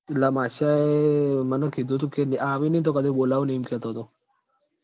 એટલ માશયાંએ મન કીધું તું કે આ આવ નઈ તો કદી બોલવું નઈ એમ કે તો